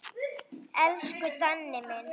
Elsku Danni minn.